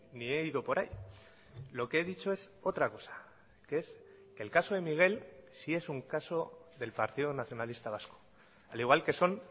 ni he ido por ahí lo que he dicho es otra cosa que es que el caso de miguel si es un caso del partido nacionalista vasco al igual que son